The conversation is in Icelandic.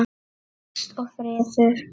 Ást og friður.